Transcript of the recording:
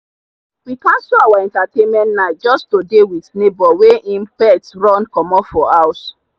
we cancel our entertainment night just to dey with neighbor wey him pet run comot for house.